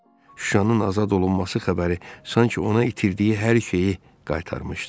Şuşanın azad olunması xəbəri sanki ona itirdiyi hər şeyi qaytarmışdı.